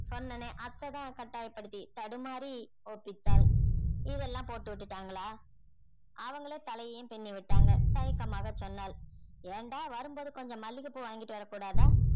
சொன்னனே அத்தை தான் கட்டாயப்படுத்தி தடுமாறி ஒப்பித்தாள் இதெல்லாம் போட்டு விட்டுட்டாங்களா அவங்களே தலையையும் பின்னிவிட்டாங்க தயக்கமாகச் சொன்னாள் ஏன்டா வரும் போது கொஞ்சம் மல்லிகை பூ வாங்கிட்டு வரக்கூடாதா?